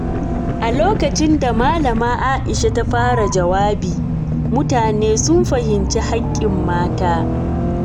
A lokacin da Malama Aisha ta fara jawabi, mutane sun fahimci hakkin mata.